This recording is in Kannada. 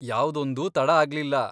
ಯಾವ್ದೊಂದೂ ತಡ ಆಗ್ಲಿಲ್ಲ.